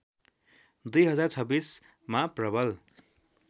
२०२६ मा प्रवल